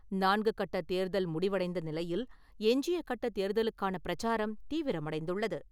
நான்குகட்ட தேர்தல் முடிவடைந்த நிலையில், எஞ்சிய கட்ட தேர்தலுக்கான பிரச்சாரம் தீவிரமடைந்துள்ளது.